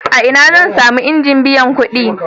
A ina zan sami injin biyan kuɗi?